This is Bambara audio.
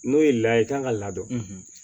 N'o ye layɛ i kan ka ladon